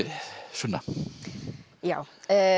sunna já